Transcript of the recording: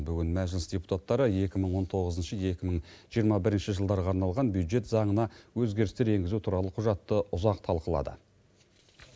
бүгін мәжіліс депутаттары екі мың он тоғызыншы екі мың жиырмасыншы жылдарға арналған бюджет заңына өзгерістер енгізу туралы құжатты ұзақ талқылады